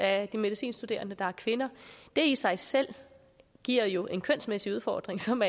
af de medicinstuderende der er kvinder det i sig selv giver jo en kønsmæssig udfordring som